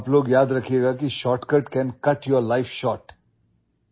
آپ لوگ یاد رکھیں کہ شارٹ کٹ آپ کی زندگی کو چھوٹا کرسکتا ہے